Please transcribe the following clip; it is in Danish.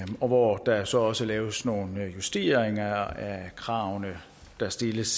og hvor der så også laves nogle justeringer af kravene der stilles